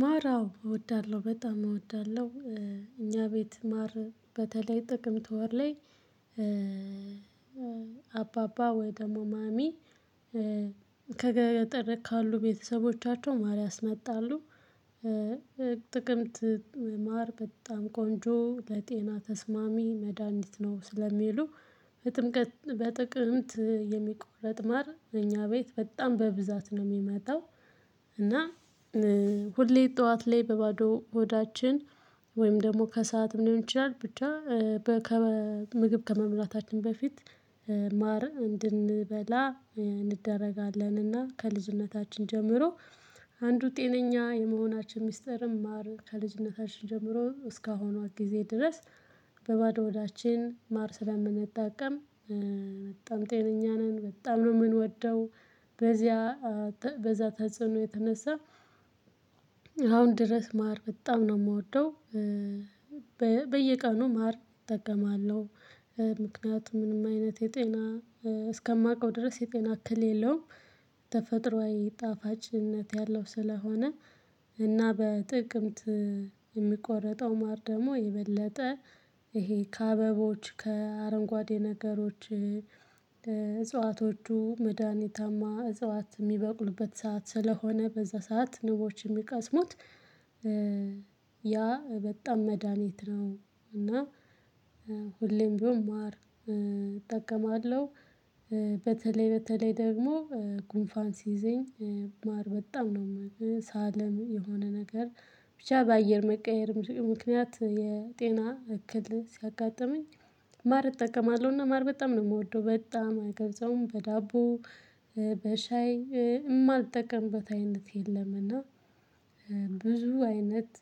ማር አዎ እወዳለሁ በጣም እወዳለሁ። እኛ ቤት ማር በተለይ ጥቅምት ተወር ላይ አባባ ወይ ደግሞ ማሚ ከገጠር ካሉ ቤተሰቦቻቸው ማር ያስመጣሉ። ጥቅምት ማር በጣም ቆንጆ ለጤና ተስማሚ መድሃኒት ነው ስለሚሉ። በጥቅምት የሚቆረጥ ማር እኛ ቤት በጣም በብዛት ነው የሚመጣው። እና ሁሌ ጠዋት ላይ በባዶ ሆዳችን ወይም ደግሞ ከሰአት ሊሆን ይችላል ብቻ። ከምግብ ከመምራታችን በፊት ማር እንድንበላ እንደረጋለን። እና ከልዝነታችን ጀምሮ አንዱ ጤነኛ የመሆናችን ሚስጥርም ማር ከልጅነታችን ጀምሮ እስካሁኗት ጊዜ ድረስ። በባዶ ሆዳችን ማር ስለምንጠቀም በጣም ጤነኛ ነን በጣም ነው የምንወደው። በዚያ በዛ ተጽኖ የተነሳ አሁን ድረስ ማር በጣም ነው የምወደው። በየቀኑ ማር እጠቀማለሁ። ምክንያቱም ምንም አይነት የጤና እስከማውቀው ድረስ የጤና ክል የለውም። ተፈጥሮአዊ ጣፋጭነት ያለው ስለሆነ እና በጥቅምት የሚቆረጠው ማር ደግሞ የበለጠ ይሄ ከአበቦች ከአረንጓዴ ነገሮች ለእጽዋቶቹ መድሃኒታማ እጽዋት የሚበቅሉበት ሰዓት ስለሆነ በዛ ሰዓት ንቦች የሚቀስሙት። ያ በጣም መድሃኒት ነው። እና ሁሌም ቢሆን ማር እጠቀማለሁ። በተለይ በተለይ ደግሞ ጉንፋን ሲይዘኝ ማር በጣም ነው ሳለም የሆነ ነገር ብቻ በአየር መቀየር ምክንያት የጤና እክል ሲያጋጥመኝ። ማር እጠቀማለሁና ማር በጣም ነው የምወደው። በጣም አይገልጸውም በዳቦ በሻይ የማልጠቀምበት አይነት የለምና። ብዙ አይነት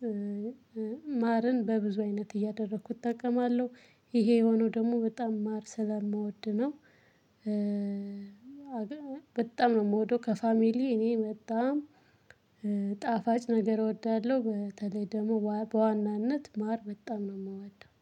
ማርን በብዙ አይነት እያደረኩ እጠቀማለሁ። ይሄ የሆነው ደግሞ በጣም ማር ስለምወድ ነው። በጣም ነው የምወደው ከፋሚሊ እኔ በጣም ጣፋጭ ነገር እወዳለሁ በተለይ ደግሞ በዋናነት ማር በጣም ነው የምወዳው